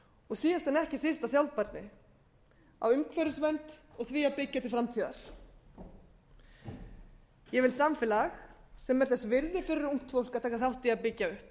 og síðast en ekki síst á sjálfbærni á umhverfisvernd og því að byggja til framtíðar ég vil samfélag sem er þess virði fyrir ungt fólk að taka þátt í að byggja upp